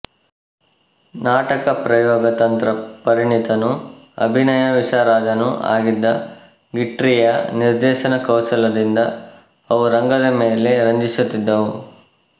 ನಾಟಕ ಪ್ರಯೋಗ ತಂತ್ರ ಪರಿಣಿತನೂ ಅಭಿನಯ ವಿಶಾರದನೂ ಆಗಿದ್ದ ಗೀಟ್ರೀಯ ನಿರ್ದೇಶನ ಕೌಶಲದಿಂದ ಅವು ರಂಗದ ಮೇಲೆ ರಂಜಿಸುತ್ತಿದ್ದವು